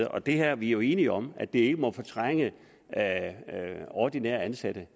og det her er vi jo enige om ikke må fortrænge ordinært ansatte